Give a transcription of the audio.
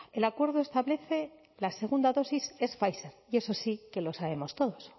el acuerdo establece la segunda dosis es pfizer y eso sí que lo sabemos todos